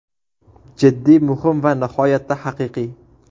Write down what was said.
Jiddiy, muhim va nihoyatda haqiqiy.